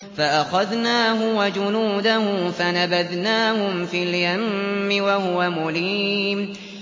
فَأَخَذْنَاهُ وَجُنُودَهُ فَنَبَذْنَاهُمْ فِي الْيَمِّ وَهُوَ مُلِيمٌ